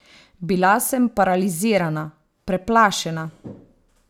Bila sem paralizirana, preplašena.